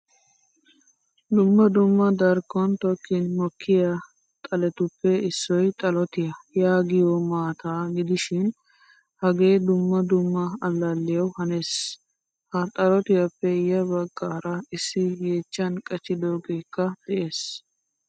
Dumma dumma darkkon tokkin mokkiyaa xaletuppe issoy xalotiyaa yaagiyo maataa gidishin hage dumma dumma allaliyawu hanees. Ha xalotiyappe ya baggaara issi yechchan qachchidogekka de'ees.